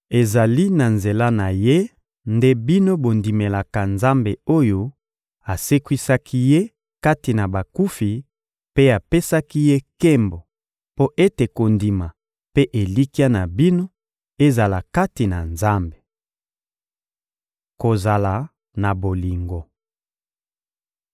Ezali na nzela na Ye nde bino bondimelaka Nzambe oyo asekwisaki Ye kati na bakufi mpe apesaki Ye nkembo, mpo ete kondima mpe elikya na bino ezala kati na Nzambe. Kozala na bolingo